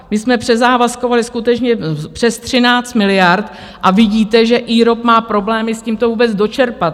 My jsme přezávazkovaly skutečně přes 13 miliard a vidíte, že IROP má problémy s tím, to vůbec dočerpat.